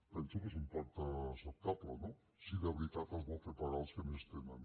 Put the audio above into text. penso que és un pacte acceptable no si de veritat es vol fer pagar als que més tenen